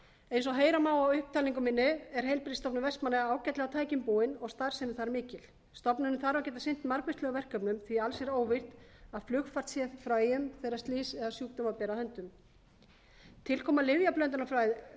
eins og heyra má af upptalningu minni er heilbrigðisstofnun vestmannaeyja ágætlega tækjum búin og starfsemi þar mikil stofnunin þarf að geta sinnt margvíslegum verkefnum því að alls er óvíst að flugfært sé frá eyjum þegar slys eða sjúkdóma ber að höndum tilkoma